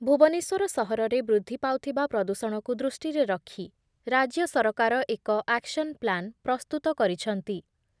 ଭୁବନେଶ୍ଵର ସହରରେ ବୃଦ୍ଧି ପାଉଥିବା ପ୍ରଦୂଷଣକୁ ଦୃଷ୍ଟିରେ ରଖି ରାଜ୍ୟ ସରକାର ଏକ ଆକ୍ସନ ପ୍ଲାନ ପ୍ରସ୍ତୁତ କରିଛନ୍ତି ।